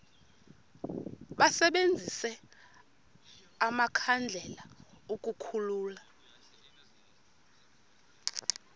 basebenzise amakhandlela ukukhulula